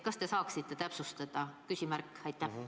Kas te saaksite täpsustada?